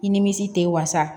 I nimisi tɛ wasa